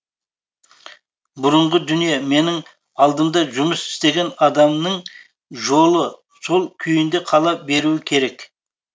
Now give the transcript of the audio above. бұрынғы дүние менің алдымда жұмыс істеген адамның жолы сол күйінде қала беруі керек